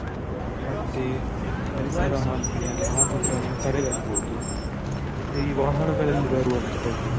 ಮತ್ತೆ ಪರಿಸರ ಮಾಲಿನ್ಯ ಎಲ್ಲಾ ಆಗುದನ್ನು ತಡೆಗಟ್ಟಬಹುದು, ಮತ್ತೆ ಈ ವಾಹನದಲ್ಲಿ ಬರುವಂತ ಹೊಗೆ.